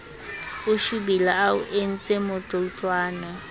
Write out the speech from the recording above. o shobile a o entsemotloutlwana